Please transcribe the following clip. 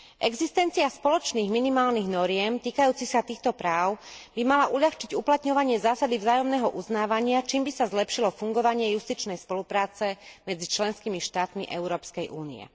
Existencia spoločných minimálnych noriem týkajúcich sa týchto práv by mala uľahčiť uplatňovanie zásady vzájomného uznávania, čím by sa zlepšilo fungovanie justičnej spolupráce medzi členskými štátmi Európskej únie.